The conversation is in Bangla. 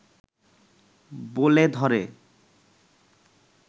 বলে ধরে